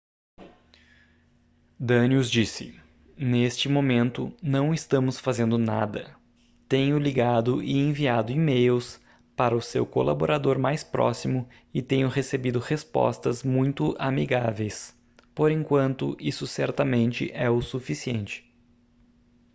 danius disse neste momento não estamos fazendo nada tenho ligado e enviado e-mails para o seu colaborador mais próximo e tenho recebido repostas muito amigáveis por enquanto isso certamente é o suficiente